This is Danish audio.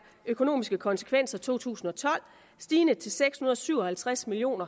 økonomiske konsekvenser i to tusind og tolv stigende til seks hundrede og syv og halvtreds million